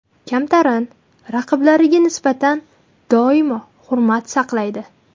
Kamtarin, raqiblariga nisbatan doimo hurmat saqlaydi.